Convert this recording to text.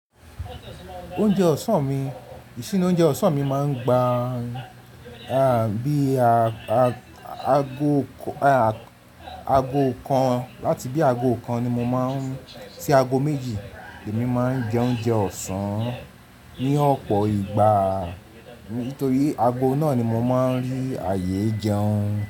Oúnjẹ ọ̀sán mi, ìṣíní oúnjẹ ọ̀sán mi máa ń gba bí i a ago kan láti bí ago kan sí ago méjì. Èmi máa ń jẹ oúnjẹ ọ̀sán ní ọ̀pọ̀ ìgbà nítorí ago náà ni mo máa ń rí ààyè jẹun.